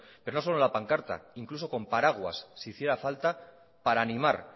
pero no solo en la pancarta incluso con paraguas si hiciera falta para animar